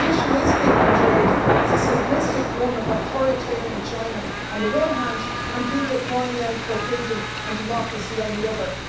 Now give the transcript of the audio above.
The issue is being portrayed as a simplistic one with authoritarian China, on the one hand, and people crying out for freedom and democracy on the other.